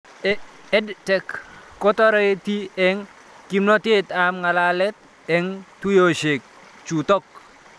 EdTech kotareti eng' kimnatet ab ng'alalet eng' tuyoshek chutok